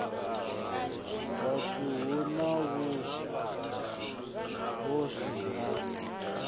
tharu hu na vhuhosi ha